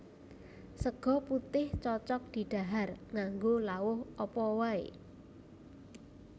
Sega putih cocog didhahar nganggo lawuh apa wae